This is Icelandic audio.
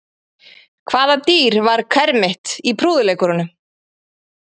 Hvaða dýr var kermit í prúðuleikurunum?